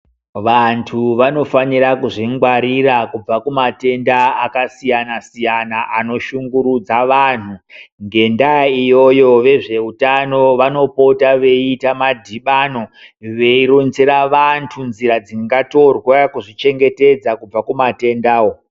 Vantu vanofanira kuzvingwarira kubva kumatenda akasiyanasiyana anoshungurudza vanhu, ngendaa iyoyo vezveutano vanopota veite madhibano veironzera vantu nzira dzingatorwa kuzvichengetedza kubva kumatendawo.